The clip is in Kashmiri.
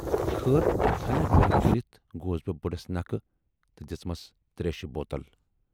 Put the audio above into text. خٲر ہنا جُرتھ کٔرِتھ گوس بہٕ بڈس نکھٕ تہٕ دِژمَس تریشہِ بوتل۔